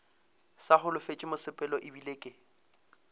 sa holofetše mosepelo ebile ke